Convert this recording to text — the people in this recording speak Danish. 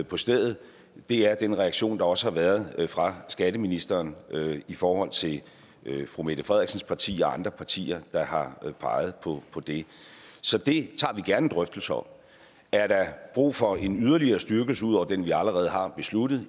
på stedet det er den reaktion der også har været fra skatteministeren i forhold til fru mette frederiksens parti og andre partier der har peget på det så det tager vi gerne en drøftelse om er der brug for en yderligere styrkelse ud over den vi allerede har besluttet